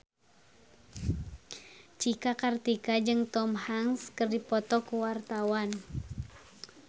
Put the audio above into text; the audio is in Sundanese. Cika Kartika jeung Tom Hanks keur dipoto ku wartawan